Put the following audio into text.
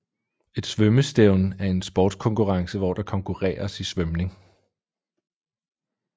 Et svømmestævne er en sportskonkurrence hvor der konkurreres i svømning